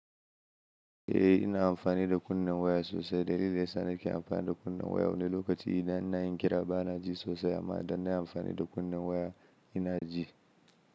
Eh ina amfani da kunnen waya sosai. Dalilin da yana sa nake amfani da kunnen waya wani lokaci idan ina yin kira ba na ji sosai amma idan na yi amfani da kunnen waya ina ji.